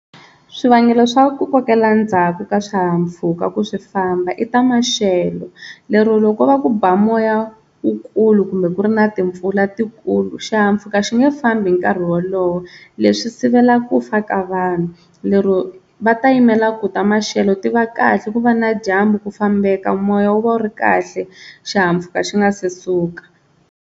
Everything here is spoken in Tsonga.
Swivangelo swa ku kokela ndzhaku ka swihahampfhuka ku swi famba i ta maxelo lero loko va ku ba moya wukulu kumbe ku ri na timpfula tikulu, xihahampfhuka xi nge fambi hi nkarhi wolowo leswi sivela ku fa ka vanhu lero va ta yimela ku ta maxelo ti va kahle ku va na dyambu ku fambeka moya wu va wu ri kahle xihahampfhuka xi nga se suka.